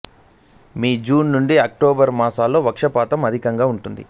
మీ June నుండి October మాసాలలో వర్షపాతం అధికంగా ఉంటుంది